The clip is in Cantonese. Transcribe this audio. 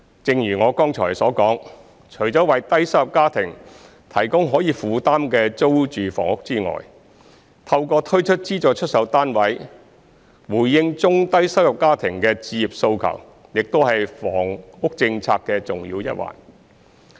正如我剛才所說，除了為低收入家庭提供可以負擔的租住房屋外，透過推出資助出售單位回應中低收入家庭的置業訴求亦是房屋政策的重要一環。